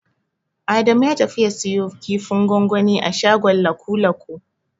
Adamu ya tafi ya siyo kifin gwangwani a shagon Lakulaku.